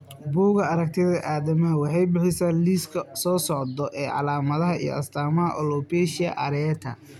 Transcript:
Bugaa aragtida aDdanaha waxay bixisaa liiska soo socda ee calaamadaha iyo astaamaha alopecia areata.